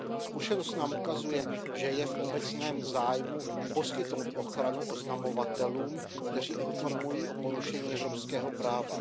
Zkušenost nám ukazuje, že je v obecném zájmu poskytnout ochranu oznamovatelům, kteří informují o porušení evropského práva.